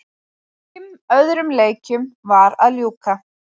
Fimm öðrum leikjum var að ljúka